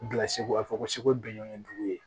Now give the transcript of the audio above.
Gila segu a fɔ ko seko bɛɛ ɲɔn ye dugu ye